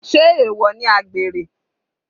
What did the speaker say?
Sé èwọ̀ ni àgbèrè?